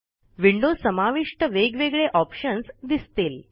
window समाविष्ट वेगवेगळे options दिसतील